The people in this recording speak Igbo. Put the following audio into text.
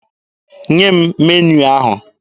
Nye m meniu ahụ!